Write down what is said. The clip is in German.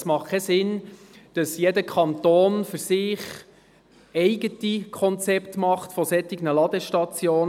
Es macht keinen Sinn, dass jeder Kanton für sich eigene Konzepte für Ladestationen macht.